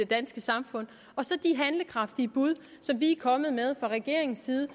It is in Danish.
danske samfund og så de handlekraftige bud som vi er kommet med fra regeringens side